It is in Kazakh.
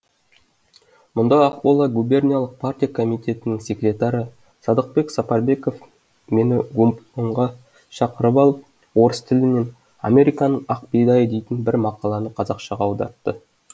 мұнда ақмола губерниялық партия комитетінің секретары садықбек сапарбеков мені губкомға шақырып алып орыс тілінен американың ақ бидайы дейтін бір мақаланы қазақшаға аудартты